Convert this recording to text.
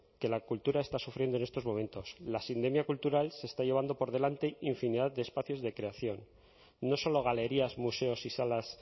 que la cultura está sufriendo en estos momentos la sindemia cultural se está llevando por delante infinidad de espacios de creación no solo galerías museos y salas